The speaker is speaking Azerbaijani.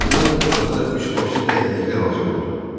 Bir azdan otaqda üç başlı dəyənəkli hazır oldu.